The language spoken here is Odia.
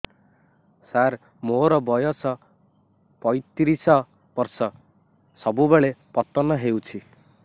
ସାର ମୋର ବୟସ ପୈତିରିଶ ବର୍ଷ ସବୁବେଳେ ପତନ ହେଉଛି